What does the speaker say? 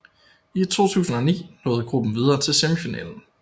I 2009 nåede gruppen videre til semifinalen